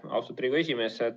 Austatud Riigikogu esimees!